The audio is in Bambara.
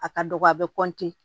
A ka dɔgɔ a bɛ